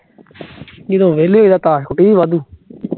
ਨੀ ਤਾ ਉਹ ਵੇਲ਼ੇ ਈ ਐ, ਤਾਸ਼ ਕੁੱਟੀਣੀ ਵਾਧੂ